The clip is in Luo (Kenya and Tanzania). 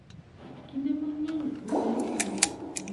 kinde mang’eny owegi gi "Bunny mar Paska".